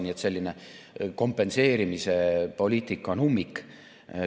Nii et selline kompenseerimispoliitika on ummik.